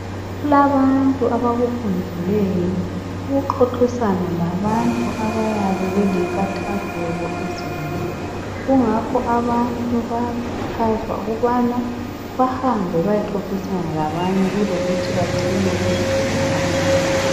Kulabantu abakufundeleyo ukuxoxisana labantu abayabe belenkathazeko ezinengi. Kungakho abantu bayakhuthazwa ukubana bahambe beyexoxisana labanye kulokuthi bacine bezibulala.